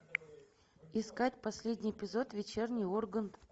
искать последний эпизод вечерний ургант